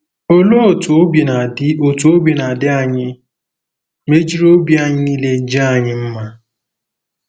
Olee otú obi na-adị otú obi na-adị anyị ma e jiri obi anyị niile jaa anyị mma?